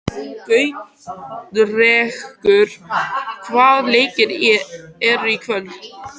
Gautrekur, hvaða leikir eru í kvöld?